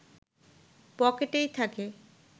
পকেটেই থাকে